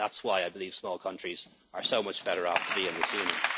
say at all. That's why I believe small countries are so much better off in